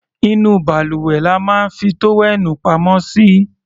Inú balùwẹ̀ la máa ń fi tówẹ́ẹ̀nù pamọ́ sí.